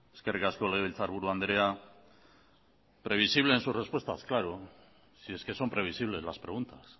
eskerrik asko legebiltzarburu andrea previsible en sus respuestas claro si es que son previsibles las preguntas